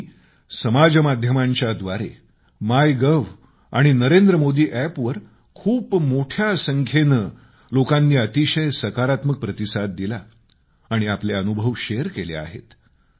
लोकांनी समाज माध्यमांच्या व्दारे माय गव्ह आणि नरेंद्र मोदी अॅप वर खूप मोठ्या संख्येनं अतिशय सकारात्मक प्रतिसाद दिला आणि आपले अनुभव शेअर केले आहेत